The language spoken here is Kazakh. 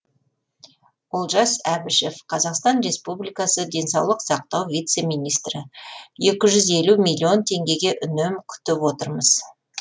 олжас әбішев қазақстан республикасы денсаулық сақтау вице министрі екі жүз елу миллион теңгеге үнем көріп отырмыз